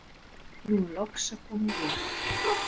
nú er loks að koma vor.